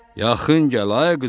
Yaxın gəl ay qızım,